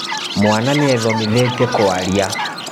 Mwana nĩethomithĩtie kwaria